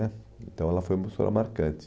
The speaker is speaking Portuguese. né Então ela foi uma professora marcante.